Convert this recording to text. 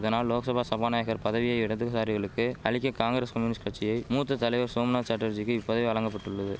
இதனால் லோக்சபா சபாநாயகர் பதவியை இடதுசாரிகளுக்கு அளிக்க காங்கிரஸ் கம்யூனிஸ்ட் கட்சியை மூத்த தலைவர் சோம்நாத் சாட்டர்ஜிக்கு இப்பதவி வழங்கபட்டுள்ளது